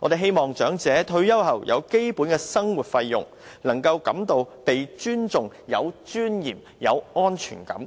我們希望長者退休後有基本的生活費用，能夠感到被尊重、有尊嚴、有安全感，